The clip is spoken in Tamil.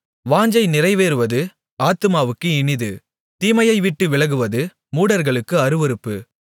வாஞ்சை நிறைவேறுவது ஆத்துமாவுக்கு இனிது தீமையைவிட்டு விலகுவது மூடர்களுக்கு அருவருப்பு